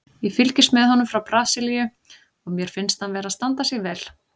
Ég fylgist með honum frá Brasilíu og mér finnst hann vera að standa sig vel.